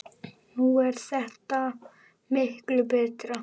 Nú er þetta miklu betra.